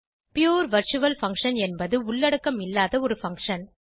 புரே virtual function என்பது உள்ளடக்கம் இல்லாத ஒரு பங்ஷன்